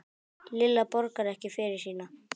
Lilla borgar ekki fyrir sína.